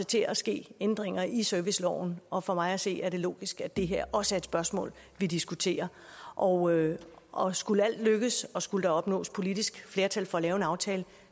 til at ske ændringer i serviceloven og for mig at se er det logisk at det her også er et spørgsmål vi diskuterer og og skulle alt lykkes og skulle der opnås politisk flertal for at lave en aftale